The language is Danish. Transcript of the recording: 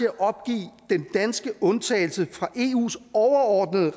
at opgive den danske undtagelse fra eus overordnede